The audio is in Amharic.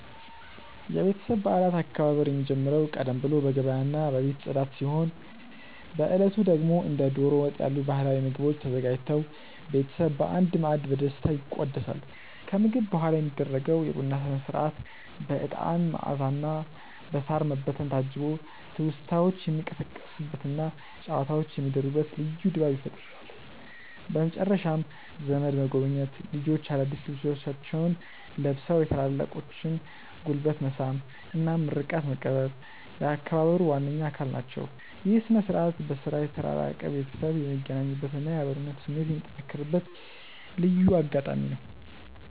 የቤተሰብ በዓላት አከባበር የሚጀምረው ቀደም ብሎ በገበያና በቤት ጽዳት ሲሆን፣ በዕለቱ ደግሞ እንደ ደሮ ወጥ ያሉ ባህላዊ ምግቦች ተዘጋጅተው ቤተሰብ በአንድ ማዕድ በደስታ ይቋደሳል። ከምግብ በኋላ የሚደረገው የቡና ሥነ-ሥርዓት በዕጣን መዓዛና በሳር መበተን ታጅቦ ትውስታዎች የሚቀሰቀሱበትና ጨዋታዎች የሚደሩበት ልዩ ድባብ ይፈጥራል። በመጨረሻም ዘመድ መጎብኘት፣ ልጆች አዳዲስ ልብሶቻቸውን ለብሰው የታላላቆችን ጉልበት መሳም እና ምርቃት መቀበል የአከባበሩ ዋነኛ አካል ናቸው። ይህ ሥነ-ሥርዓት በሥራ የተራራቀ ቤተሰብ የሚገናኝበትና የአብሮነት ስሜት የሚጠነክርበት ልዩ አጋጣሚ ነው።